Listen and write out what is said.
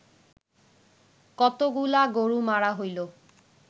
কতগুলা গরু মারা হইল